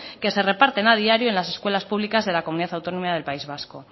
que se reparten a diario en las escuelas públicas de la comunidad autónoma del país vasco